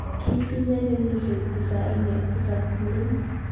Kitinye kenyisiek tisaini ak tisab muren.